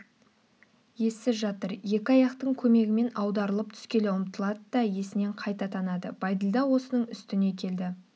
ессіз жатыр екі аяқтың көмегімен аударылып түскелі ұмтылады да есінен қайта танады бәйділда осының үстіне келді